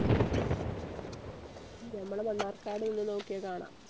ഞമ്മളെ മണ്ണാർക്കാട് നിന്ന് നോക്കിയാ കാണാ